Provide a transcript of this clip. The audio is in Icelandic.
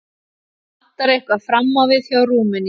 Vantar eitthvað fram á við hjá Rúmeníu.